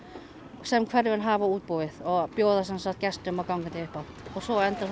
sem hverfin hafa útbúið og bjóða gestum og gangandi upp á svo endar það